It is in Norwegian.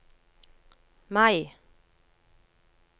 Mai